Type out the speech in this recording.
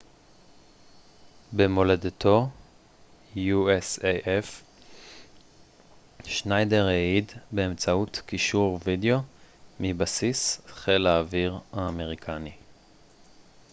שניידר העיד באמצעות קישור וידאו מבסיס חיל האוויר האמריקני usaf במולדתו